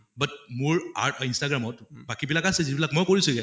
but মোৰ art অহ instagram অত বাকী বিলাক আছে যিবিলাক মই কৰিছোগে